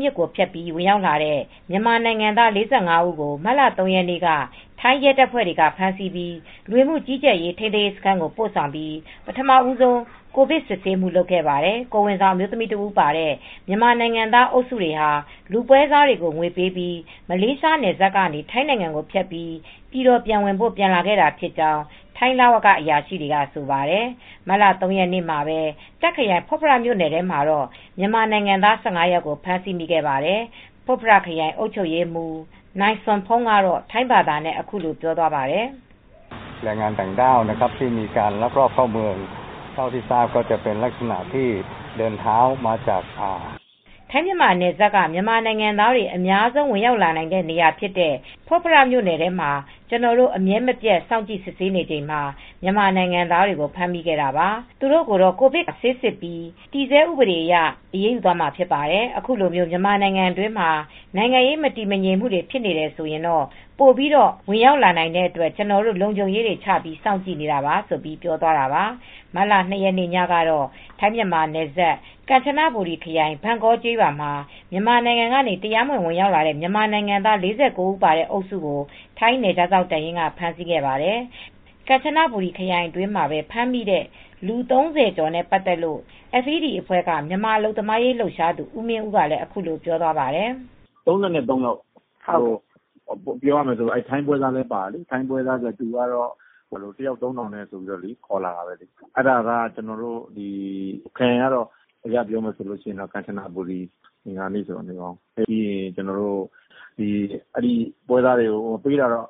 မြစ်ကို ဖြတ်ပြီး ဝင်ရောက်လာတဲ့ မြန်မာနိုင်ငံသား ၄၅ ဦး ကို မတ်လ ၃ ရက်နေ့က ထိုင်း ရဲတပ်ဖွဲ့တွေက ဖမ်းဆီးခဲ့ပြီး လူဝင်မှုကြီးကြပ်ရေး ထိန်းသိမ်းရေးစခန်းကို ပို့ဆောင်ပြီး ပထမဆုံး ကိုဗစ်စစ်ဆေးခဲ့ပါတယ်။ ကိုယ်ဝန်ဆောင်အမျိုးသမီး တဦးပါတဲ့မြန်မာနိုင်ငံသား အုပ်စုတွေဟာ လူပွဲစားတွေကိုငွေပေးပြီး မလေးရှားနယ်စပ်ကနေ ထိုင်းနိုင်ငံကို ဖြတ်ပြီး ပြည်တော်ပြန်ဝင်ဖို့ ပြန်လာခဲ့တာဖြစ်ကြောင်း ထိုင်းလဝကအရာရှိတွေက ဆိုပါတယ်။ မတ်လ ၃ ရက်နေ့မှာပဲ တာ့ခရိုင်ဖွတ်ဖရမြို့နယ်ထဲမှာ မြန်မာနိုင်ငံသားကို ၁၅ ယောက်ကို ဖမ်းမိခဲ့ပါတယ်။ ဖွတ်ဖရ ခရိုင် အုပ်ချုပ်ရေးမှူး Mrs. Sompong Fungthaweewong ကတော့ ထိုင်းဘာသာနဲ့ အခုလိုပြောသွားပါတယ်။ "ထိုင်းမြန်မာနယ်စပ်က မြန်မာနိုင်ငံသားတွေ အများဆုံး ဝင်ရောက်လာနိုင်တဲ့နေရာဖြစ်တဲ့ ဖွတ်ဖရမြို့နယ်မှာ ကျနော်တို့ အမြဲမပြတ်စောင့်ကြည့်စစ်ဆေးနေချိန်မှာ မြန်မာနိုင်ငံသားတွေကို ဖမ်းမိခဲ့တာပါ။ သူတို့ကိုတော့ ကိုဗစ်ကပ်ရောဂါဆိုင်ရာ ဆေးစစ်ပြီး တည်ဆဲဥပဒေအရ အရေးယူသွားမှာ ဖြစ်ပါတယ်။ အခုလိုမြန်မာနိုင်ငံတွင်းမှာ နိုင်ငံရေးမတည်ငြိမ်မှု ဖြစ်တယ်ဆိုရင် ပိုပြီး ဝင်ရောက်လာနိုင်တဲ့အတွက်ကျနော်တို့ လုံခြုံရေးတွေ ချပြီးစောင့်ကြည့်နေတာပါ။" မတ်လ ၂ ရက်နေ့ ညကတော့ ထိုင်းမြန်မာနယ်စပ် ကမ်းချနဘူရီခရိုင် ဘန့်ကောကျေးရွာမှာ မြန်မာနိုင်ငံကနေ ဝင်ရောက်လာကြတဲ့ တရားမဝင် မြန်မာနိုင်ငံသား ၄၉ ဦး ပါတဲ့ အုပ်စုကိုထိုင်းနယ်ခြားစောင့်တပ်ရင်းက ဖမ်းဆီးခဲ့ပါတယ်။ ကမ်ချနဘူရခရိုင်အတွင်းမှာ ဖမ်းမိတဲ့ လူ ၃၀ ကျော်နဲ့ ပတ်သက်လို့ FED အဖွဲ့က မြန်မာအလုပ်သမားရေးလှုပ်ရှားသူ ဦးမင်းဦးက အခုလိုပြောသွားပါတယ်။ "၃၃ ယောက် ပြောရမယ်ဆိုရင် ထိုင်းပွဲစားလည်း ပါတယ်။ သူကတော့ တယောက် ၃,၀၀၀ နဲ့ ခေါ်လာတယ်၊ ပြောတယ်။ ခရိုင်ကတော့ ကမ်ချနဘူရီခရိုင်၊ စံခဘူရီမြို့နယ်ထဲမှာလည်း အင်္ဂါနေ့အစောကြီး မိတာ။ ပွဲစားတွေကိုတော့ ပေးရတာတော့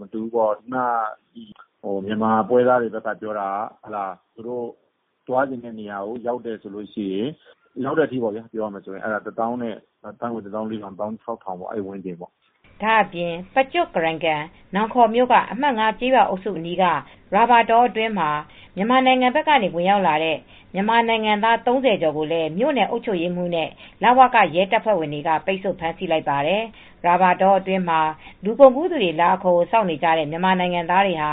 မတူဘူးပေါ့။ မြန်မာပွဲစားတွေက ပြောတာကတော့ သွားချင်တဲ့ နေရာထိ ရောက်အောင်ဆိုရင်တော့ ၁၄,၀၀၀ ကနေ ၁၆,၀၀၀ ဝန်းကျင်ထိပေးရတယ်။ အဲဒီဝန်းကျင်ပေါ့" ဒါ့အပြင် ပကျော့ကီရိကန် နောင်ခေါမြို့က အမှတ် (၅) ကျေးရွာအုပ်စု အနီးက ရာဘာသစ်တောအတွင်း မြန်မာနိုင်ငံဘက်က ဝင်ရောက်လာကြတဲ့ မြန်မာနိုင်ငံသား ၃၀ ကျော်ကိုလည်း မြို့နယ်အုပ်ချုပ်ရေးမှူးနဲ့ လဝက ရဲတပ်ဖွဲ့ဝင်တွေက ပိတ်ဆို့ဖမ်းဆီးလိုက်ပါတယ်။ ရာဘာသစ်တောအတွင်း လူကုန်ကူးသူတွေ လာအခေါ်ကို စောင့်နေကြတဲ့ မြန်မာနိုင်ငံသားတွေဟာ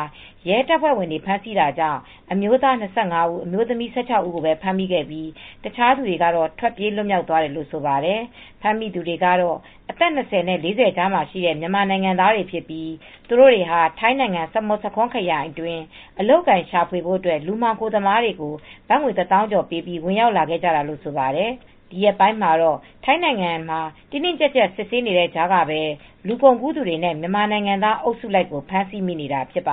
ရဲတပ်ဖွဲ့ဝင်တွေကို ဖမ်းဆီးတာကြောင့် အမျိုးသား ၂၅ ဦး၊ အမျိုးသမီး ၁၆ ဦးကို ဖမ်းမိခဲ့ပြီး တခြားလူတွေက ထွက်ပြေး လွတ်မြောက်သွားတယ်လို့ ဆိုပါတယ်။ ဖမ်းမိသူတွေကတော့ အသက်၂၀၊ ၄၀ အကြားရှိတဲ့ မြန်မာနိုင်ငံသားတွေ ဖြစ်ပြီး သူတို့တွေဟာ ထိုင်းနိုင်ငံ စမုဆာခွန်းခရိုင်အတွင်း အလုပ်အကိုင် ရှာဖွေဖို့ လူမှောင်ခိုသမားတွေကို ဘတ်ငွေ ၁၀,၀၀၀ ကျော် ပေးပြီး ဝင်ရောက်လာခဲ့ကြတာလို့ ဆိုပါတယ်။ ဒီရက်ပိုင်းမှာတော့ ထိုင်းနိုင်ငံမှာ တင်းတင်းကြပ်ကြပ် စစ်ဆေးနေတဲ့ကြားကပဲ လူကုန်ကူးသူတွေနဲ့ မြန်မာနိုင်ငံသားအုပ်စုလိုက်ကို ဖမ်းဆီးမိနေတာဖြစ်ပါ